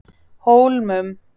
Hólmum